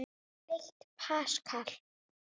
Eitt paskal